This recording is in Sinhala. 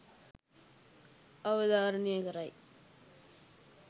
අවධාරණය කරයි.